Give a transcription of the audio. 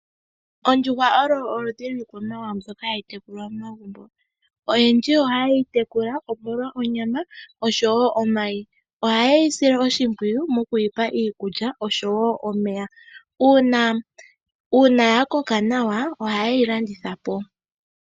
Ondjuhwa olo oludhi lwiikwamawawa mbyoka hayi tekulwa momagumbo. Oyendji ohaye yi tekula, omolwa onyama noshowo omayi. Ohaye yi sile oshimpwiyu okuyi pa iikulya oshowo omeya. Uuna ya koka nawa ohaye yi landitha po.